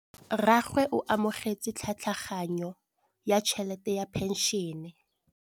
Rragwe o amogetse tlhatlhaganyô ya tšhelête ya phenšene.